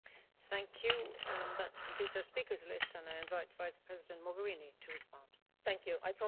Madam President, I promise to be brief.